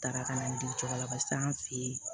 Taara ka na n deli cogo la barisa an fe yen